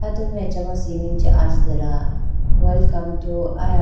attu ma acha cement chee ajitela welcome to aya--